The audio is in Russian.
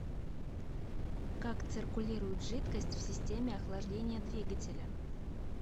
как циркулирует жидкость в системе охлаждения двигателя